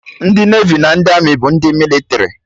Ndị Nevi na ndị Amị bụ ndị mịlịtrị